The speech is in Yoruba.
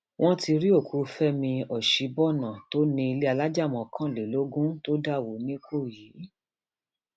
wọn ti rí òkú fẹmi ọsibọnà tó ní ilé alájà mọkànlélógún tó dà wọ nìkòyí